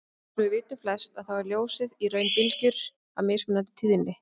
Eins og við vitum flest að þá er ljósið í raun bylgjur af mismunandi tíðni.